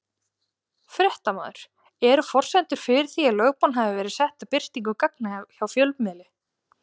Fréttamaður: Eru forsendur fyrir því að lögbann hafi verið sett á birtingu gagna hjá fjölmiðli?